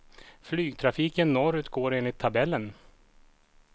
Flygtrafiken norr ut går enligt tabellen.